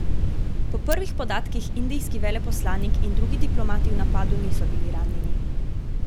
Po prvih podatkih indijski veleposlanik in drugi diplomati v napadu niso bili ranjeni.